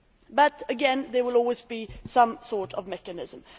But again, there will always be some sort of mechanism.